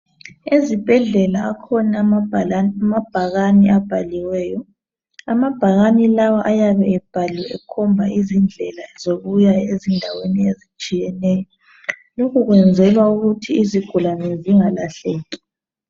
ezibhedlela alhona amabhakani abhaliweyo amabhakani lawa ayabe ebhaliwe ekhomba izindlela ezitshiyeneyo lokho kuyenzelwa ukuthi izigulane zingalahleki